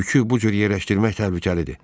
Yükü bu cür yerləşdirmək təhlükəlidir.